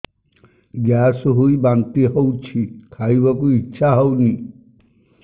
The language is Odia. ଗ୍ୟାସ ହୋଇ ବାନ୍ତି ହଉଛି ଖାଇବାକୁ ଇଚ୍ଛା ହଉନି